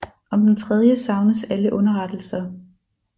Om den tredje savnes alle underrettelser